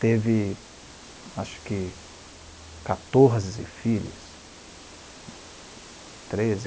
Teve, acho que, quatorze filhos.